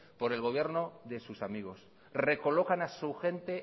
por el gobierno de sus amigos recolocan a su gente